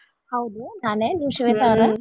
ಹೌದು ನಾನೇ ನೀವ್ ಶ್ವೇತಾ ಅವ್ರಾ?